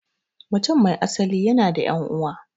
Mutum mai asali yana da 'yan'uwa.